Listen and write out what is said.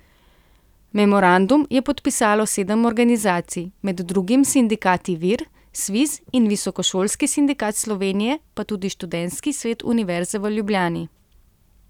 Memorandum je podpisalo sedem organizacij, med drugim sindikati Vir, Sviz in Visokošolski sindikat Slovenije pa tudi Študentski svet Univerze v Ljubljani.